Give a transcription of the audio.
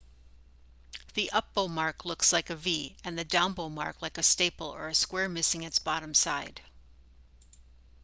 the up bow mark looks like a v and the down bow mark like a staple or a square missing its bottom side